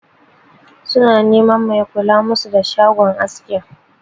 Su na neman mai kula musu da shagon askin.